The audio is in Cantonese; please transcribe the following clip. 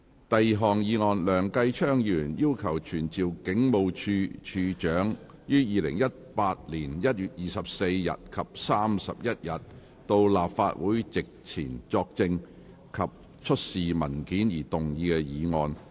第二項議案：梁繼昌議員要求傳召警務處處長於2018年1月24日及31日到立法會席前作證及出示文件而動議的議案。